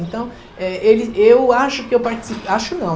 Então, eh, eu acho que eu participei... Acho não.